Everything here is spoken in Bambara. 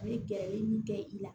A ye gɛrɛ min kɛ i la